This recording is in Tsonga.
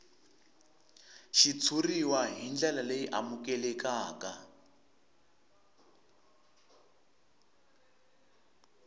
xitshuriwa hi ndlela leyi amukelekaka